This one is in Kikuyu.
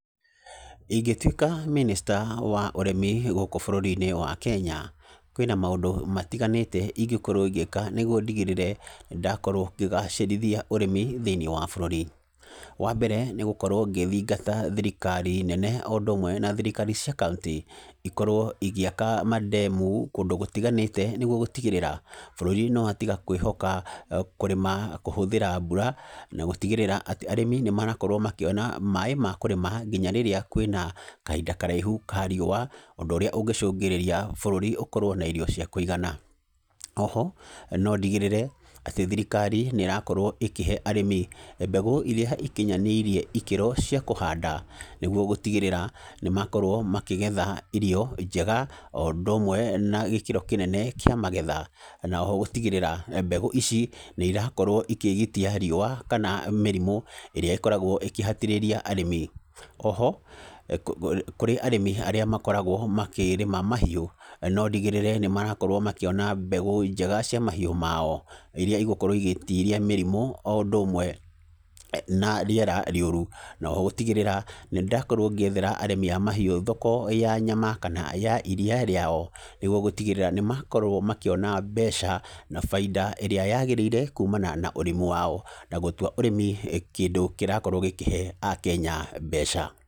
Ingĩtuĩka mĩnĩsta wa ũrĩmi gũkũ bũrũri-inĩ wa Kenya, kwĩna maũndũ matiganĩte ingĩkorwo ngĩka nĩguo ndigĩrĩre ndakorwo ngĩgacĩrithia ũrĩmi thĩiniĩ wa bũrũri. Wa mbere, nĩgũkorwo ngĩthingata thirikari nene o ũndũ ũmwe na thirikari cia kauntĩ, ikorwo igĩaka mandemu kũndũ gũtiganĩte nĩguo gũtigĩrĩra, bũrũri nĩ watiga kwĩhoka kũrĩma kũhũthĩra mbura, na gũtigĩrĩra atĩ, arĩmi nĩ marakorwo makĩona maaĩ ma kũrĩma nginya rĩrĩa kwĩna kahinda karaihu ka riũa, ũndũ ũrĩa ũngĩcũngĩrĩria bũrũri ũkorwo na irio cia kũigana. Oho, no ndigĩrĩre, atĩ thirikari nĩ ĩrakorwo ĩkĩhe arĩmi mbegũ irĩa ikinyanĩirie ikĩro cia kũhanda. Nĩguo gũtigĩrĩra, nĩ makorwo makĩgetha irio njega, o ũndũ ũmwe na gĩkĩro kĩnene kĩa magetha. Na oho gũtigĩrĩra mbegũ ici, nĩ irakorwo ikĩgitia riũa kana mĩrimũ, ĩrĩa ĩkoragwo ĩkĩhatĩrĩria arĩmi. Oho, kũrĩ arĩmi arĩa makoragwo makĩrĩma mahiũ, no ndigĩrĩre nĩ marakorwo makĩona mbegũ njega cia mahiũ mao. Irĩa igokorwo igĩtiria mĩrimũ o ũndũ ũmwe na rĩera rĩũru. Na oho gũtigĩrĩra, nĩ ndakorwo ngĩethera arĩmi a mahiũ thoko ya nyama kana ya iriia rĩao, nĩguo gũtigĩrĩra nĩ makorwo makĩona mbeca, na baida ĩrĩa yagĩrĩire kumana na ũrĩmi wao. Na gũtua ũrĩmi kĩndũ kĩrakorwo gĩkĩhe akenya mbeca.